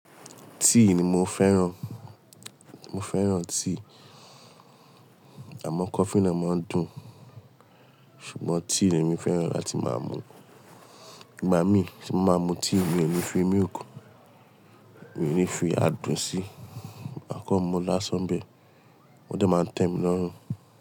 Tea ni mo fẹ́ràn. Mo fẹ́ràn tea. Àmọ́ coffee náà máa ń dùn. Ṣùgbọ́n tea ni èmi fẹ́ràn láti máa mu. Ìgbà mí tí mo máa mu tea mi ò ní fi milk. Mi ò ní fi adùn síi. Màá kan mu n lásán bẹ́ẹ̀. Wọ́n dẹ̀ máa ń tẹ́ mi lọ́run.